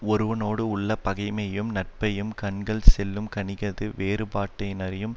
ஒருவனோடுள்ள பகைமையையும் நட்பையும் கண்கள் சொல்லும் கண்ணிகது வேறுபாட்டைனரையும்